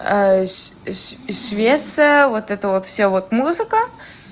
ш ш швеция вот это вот всё вот музыка